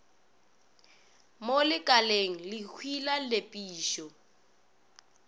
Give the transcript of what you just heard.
mo lekaleng lekhwi la nepišo